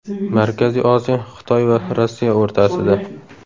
Markaziy Osiyo Xitoy va Rossiya o‘rtasida.